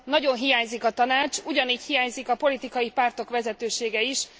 Nagyon hiányzik a Tanács, ugyanígy hiányzik a politikai pártok vezetősége is.